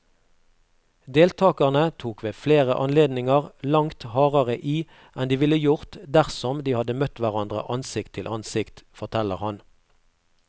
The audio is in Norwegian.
Deltagerne tok ved flere anledninger langt hardere i enn de ville gjort dersom de hadde møtt hverandre ansikt til ansikt, forteller han.